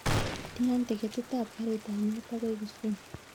Tian tiketit ap karit ap maat akoi kisumu